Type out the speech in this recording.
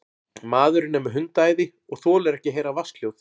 Maðurinn er með hundaæði og þolir ekki að heyra vatnshljóð.